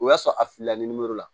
O y'a sɔrɔ a filila ni la